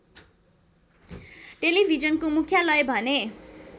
टेलिभिजनको मुख्यालय भने